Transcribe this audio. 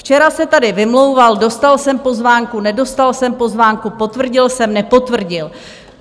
Včera se tady vymlouval: dostal jsem pozvánku, nedostal jsem pozvánku, potvrdil jsem, nepotvrdil.